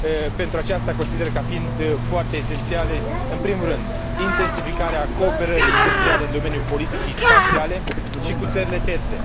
Pentru aceasta consider ca fiind foarte esențiale în primul rând, intensificarea cooperării industriale în domeniul politicii spațiale și cu țările terțe